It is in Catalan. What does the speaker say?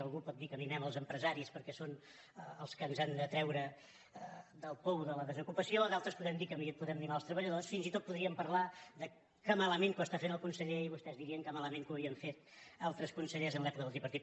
algú pot dir que mimem els empresaris perquè són els que ens han de treure del pou de la desocupació d’altres podem dir que podem mimar els treballadors fins i tot podríem parlar que malament que ho està fent el conseller i vostès dirien que malament que ho havien fet altres consellers en l’època del tripartit